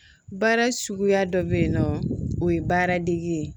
Baara suguya dɔ bɛ yen nɔ o ye baara degi ye